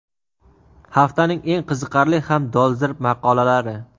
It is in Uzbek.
Haftaning eng qiziqarli ham dolzarb maqolalari.